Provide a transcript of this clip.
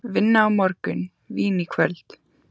Vinna á morgun, vín í kvöld.